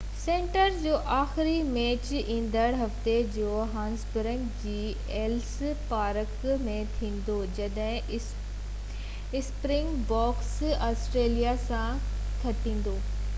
series جو آخري match ايندڙ هفتي جوهانسبرگ جي ايلس پارڪ ۾ ٿيندو جڏهن اسپرنگ بوڪس آسٽريليان سان کيڏيندو